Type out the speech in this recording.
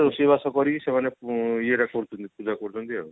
ରୋଷେଇବାସ କରିକି ସେମାନେ ଇଏ କରୁଛନ୍ତି ପୂଜା କରୁଛନ୍ତି ଆଉ